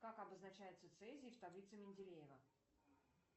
как обозначается цезий в таблице менделеева